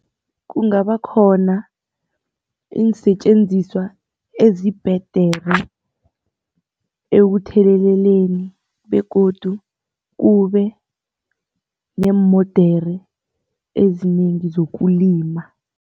Kungaba khona iinsetjenziswa ezibhedere ekutheleleleni begodu kube neemodere ezinengi zokulima.